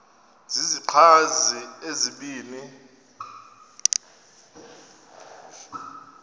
zizichazi ezibini u